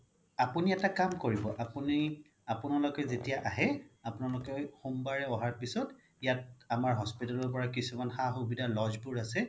আপোনি এটা কাম কৰিব আপোনি আপোনালোকে যেতিয়া আহে আপোনালোকে সোমবাৰে আহাৰ পিছত ইয়াত আমাৰ hospital ৰ পৰা কিছুমান সা সুবিধা lodge বোৰ আছে